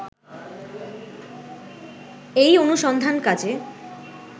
এই অনুসন্ধান কাজে